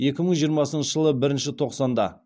екі мың жиырмасыншы жылы бірінші тоқсанда